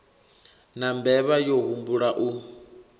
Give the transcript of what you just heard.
na mbevha yo humbula u